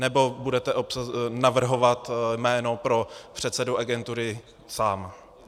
Nebo budete navrhovat jméno pro předsedu agentury sám?